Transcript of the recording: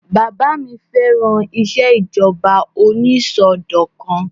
Bàbá mi fẹ́ràn ìṣèjọba onísọdọ̀kan